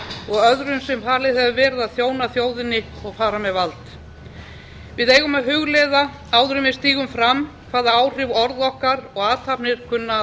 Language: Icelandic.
og öðrum sem falið hefur verið að þjóna þjóðinni og fara með vald við eigum að hugleiða áður en við stígum fram hvaða áhrif orð okkar og athafnir kunna að